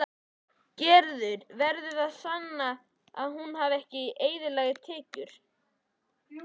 Gerður verður að sanna að hún hafi eðlilegar tekjur.